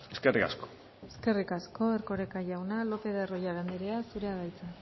eskerrik asko eskerrik asko erkoreka jauna lopez de arroyabe andrea zurea da hitza